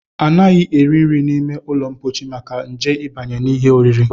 Anaghị eri nri n'ime ụlọmkpochi maka nje ịbanye n'ihe oriri